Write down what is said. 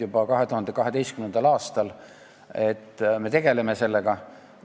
Juba 2012. aastal sai räägitud, et me tegeleme sellega.